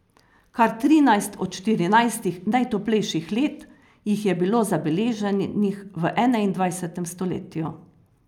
Kar trinajst od štirinajstih najtoplejših let jih je bilo zabeleženih v enaindvajsetem stoletju.